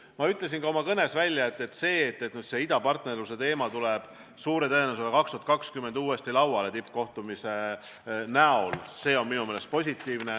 Ma ütlesin ka oma kõnes, et see, et idapartnerluse teema tuleb suure tõenäosusega 2020 uuesti lauale, sest toimub tippkohtumine, on minu meelest positiivne.